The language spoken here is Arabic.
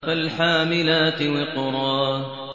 فَالْحَامِلَاتِ وِقْرًا